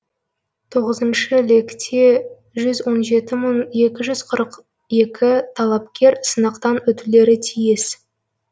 мұнда тоғызыншы лекте жүз он жеті мың екі жүз қырық екі талапкер сынақтан өтулері тиіс